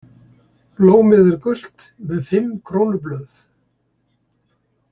Blómið er gult með fimm krónublöð.